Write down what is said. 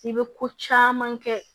I bɛ ko caman kɛ